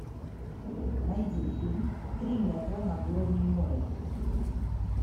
найди фильм три метра над уровнем моря